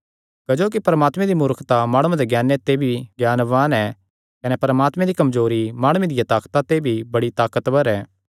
क्जोकि परमात्मे दी मूर्खता माणुआं दे ज्ञाने ते भी ज्ञानवान ऐ कने परमात्मे दी कमजोरी माणुआं दिया ताकता ते बड़ी ताकतवर ऐ